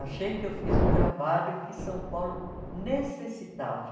Achei que eu fiz um trabalho que São Paulo necessitava.